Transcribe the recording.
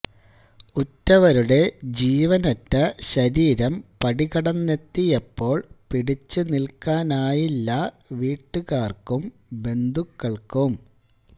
ഉറ്റവരുടെ ജീവനറ്റ ശരീരം പടികടന്നെത്തിയപ്പോള് പിടിച്ചു നില്ക്കാനായില്ല വീട്ടുകാര്ക്കും ബന്ധുക്കള്ക്കും